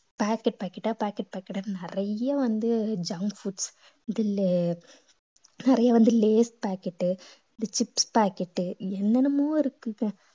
packet packet ஆ packet packet ஆ நிறைய வந்து junk foods நிறைய வந்து lays packet இந்த chips packet என்னென்னமோ இருக்குங்க